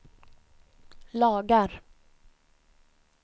lagar